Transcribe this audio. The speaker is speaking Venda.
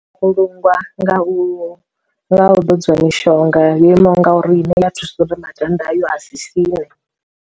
Vhulungwa nga u nga u ḓodziwa mishonga yo imaho nga uri i ne ya thusa uri makanda ayo a si siṋe.